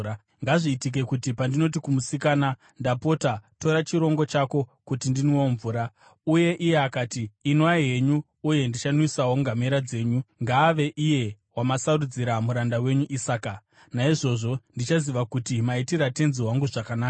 Ngazviitike kuti pandinoti kumusikana, ‘Ndapota, tura chirongo chako kuti ndinwewo mvura,’ uye iye akati, ‘Inwai henyu uye ndichanwisawo ngamera dzenyu’ ngaave iye wamasarudzira muranda wenyu Isaka. Naizvozvo ndichaziva kuti maitira tenzi wangu zvakanaka.”